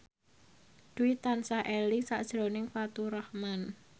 Dwi tansah eling sakjroning Faturrahman